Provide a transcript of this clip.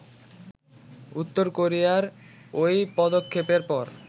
উত্তর কোরিয়ার ওই পদক্ষেপের পর